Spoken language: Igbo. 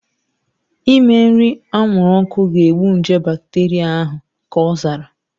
Ime nri anwụrụ ọkụ ga-egbu nje bakteria ahu, ka ọ zara